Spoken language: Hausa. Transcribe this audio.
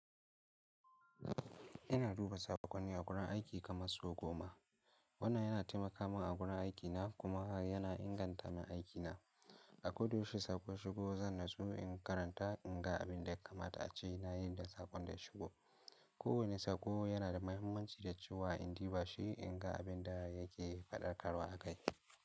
Ina duba sakonni a wurin aiki kamar sau goma. Wannan yana taimaka min a wurin aikina kuma haka yana inganta min aikina. A koda yaushe sako ya shigo zan natsu in karanta in ga abin da ya kamata a ce na yi da sakon da ya shigo. Kowane sako yana da mahimmanci da cewa in duba shi in ga abin da yake faɗakarwa akai.